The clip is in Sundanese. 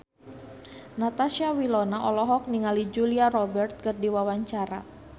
Natasha Wilona olohok ningali Julia Robert keur diwawancara